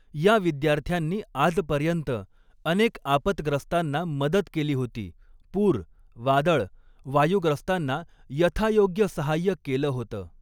या विद्यार्थ्यांनी आजपर्यंत अनेक आपतग्रस्तांना मदत केली होती, पूर, वादळ, वायुग्रस्तांना यथायोग्य सहाय्य केलं होतं.